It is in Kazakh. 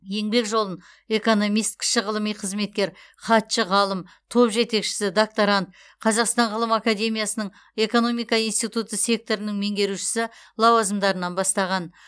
еңбек жолын экономист кіші ғылыми қызметкер хатшы ғалым топ жетекшісі докторант қазақстан ғылым академиясындағы экономика институты секторының меңгерушісі лауазымдарынан бастаған